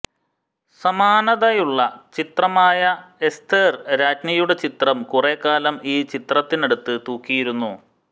സമാനതയുള്ള ചിത്രമായ എസ്ഥേർ രാജ്ഞിയുടെ ചിത്രം കുറേക്കാലം ഈ ചിത്രത്തിനടുത്ത് തൂക്കിയിരുന്നു